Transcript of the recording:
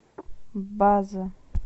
база